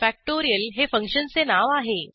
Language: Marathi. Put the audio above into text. फॅक्टोरियल हे फंक्शनचे नाव आहे